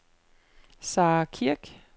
Sarah Kirk